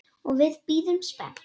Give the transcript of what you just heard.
Og við bíðum spennt.